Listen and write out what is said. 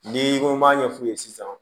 N'i ko m'a ɲɛf'u ye sisan